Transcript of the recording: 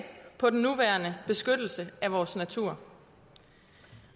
på den nuværende beskyttelse af vores natur